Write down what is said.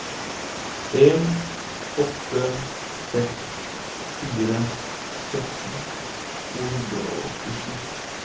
en åtte seks fire sytten to hundre og åttisju